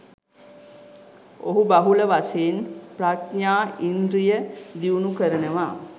ඔහු බහුල වශයෙන් ප්‍රඥා ඉන්ද්‍රිය දියුණු කරනවා.